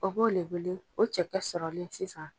O b'o le wele ko cɛkɛ sɔrɔli sisan.